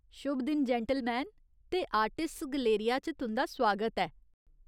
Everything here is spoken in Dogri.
शुभ दिन, जैंटलमैन, ते आर्टिस्ट्स गैलेरिया च तुं'दा सुआगत ऐ!